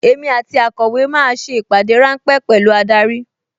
Èmi àti akọ̀wé máa ṣe ìpàdé ráńpẹ́ pẹ̀lú adarí